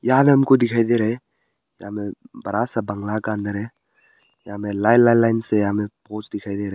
यहां में हमको दिखाई दे रहा है यहा में बड़ा सा बंगला का अंदर है यहां में लाइन लाइन लाइन से हमें पोस दिखाई दे रहा है।